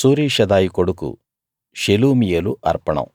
సూరీషదాయి కొడుకు షెలుమీయేలు అర్పణం